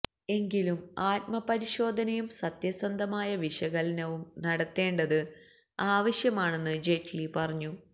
എങ്കിലും ആത്മപരിശോധനയും സത്യസന്ധമായ വിശകലനവും നടത്തേണ്ടത് ആവശ്യമാണെന്നു ജയ്റ്റ്ലി പറഞ്ഞു